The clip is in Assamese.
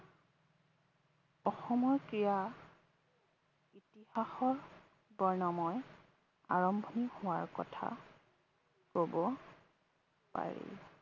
অসমৰ ক্ৰীড়া ইতিহাসৰ বৰ্ণময় আৰম্ভণি হোৱা কথা কব পাৰি।